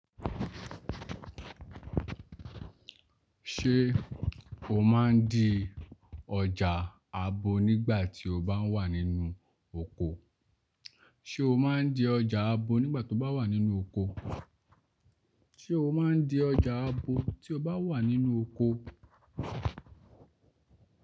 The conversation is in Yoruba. Ṣé o máa ń di ọjà abo nígbà tí o bá wà nínú oko? Abo nígbà tó bá wà nínú oko? Ṣé o máa ń di ọjà abo tí o bá wà nínú oko?